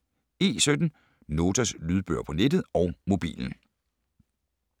E17 - Notas lydbøger på nettet og mobilen